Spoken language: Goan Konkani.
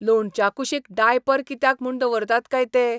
लोणच्या कुशीक डायपर कित्याक म्हूण दवरतात काय ते?